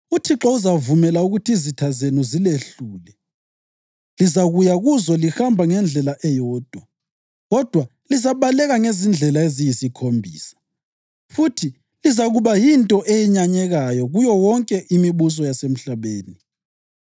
UThixo uzavumela ukuthi izitha zenu zilehlule. Lizakuya kuzo lihamba ngendlela eyodwa kodwa lizabaleka ngezindlela eziyisikhombisa, futhi lizakuba yinto eyenyanyekayo kuyo yonke imibuso yasemhlabeni.